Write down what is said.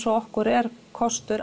og okkur er kostur